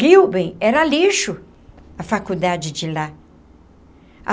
Rilben era lixo, a faculdade de lá.